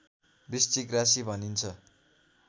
वृश्चिक राशि भनिन्छ